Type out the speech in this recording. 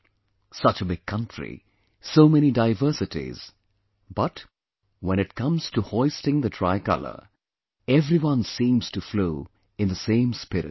Such a big country, so many diversities, but when it came to hoisting the tricolor, everyone seemed to flow in the same spirit